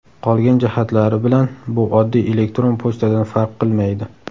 Qolgan jihatlari bilan bu oddiy elektron pochtadan farq qilmaydi.